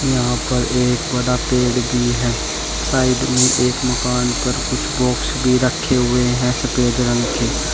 यहां पर एक बड़ा पेड़ भी है साइड मे एक मकान पर कुछ बॉक्स भी रखे हुए है सफेद रंग के।